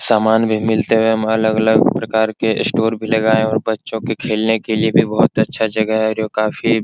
समान भी मिलते हुए अलग-अलग प्रकार के स्टोर भी लगाए और बच्चों के खेलने के लिए भी बहुत ही अच्छा जगह है और काफी --